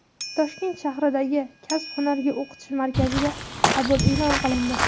Toshkent shahridagi Kasb-hunarga o‘qitish markaziga qabul e’lon qilindi.